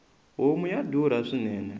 homu ya durha swinene